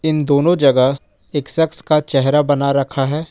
इन दोनों जगह एक शख्स का चेहरा बना रखा है।